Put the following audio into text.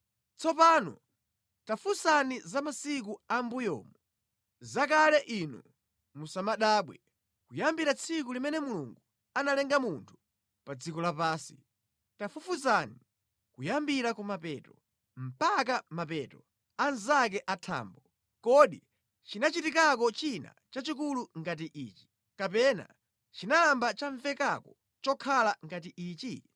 Tsopano tafunsani za masiku a mʼmbuyomu, zakale inu musanabadwe, kuyambira tsiku limene Mulungu analenga munthu pa dziko lapansi. Tafufuzani kuyambira kumapeto mpaka mapeto anzake a thambo. Kodi chinachitikako china chachikulu ngati ichi, kapena chinayamba chamvekako chokhala ngati ichi?